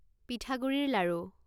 পিঠাগুড়িৰ লাড়ু